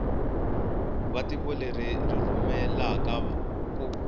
va tiko leri ri rhumelaku